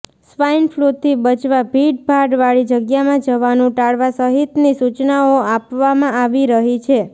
સ્વાઈનફ્લુથી બચવા ભીડભાડવાળી જગ્યામાં જવાનું ટાળવા સહિતની સુચનાઓ આપવામાં આવી રહી છે